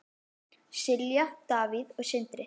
Silja, Davíð og Sindri.